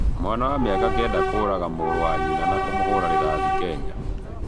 Mwana wa mĩaka Kenda kũraga mũrũ wa nyĩna na kũmũhũra rĩthathĩ Kenya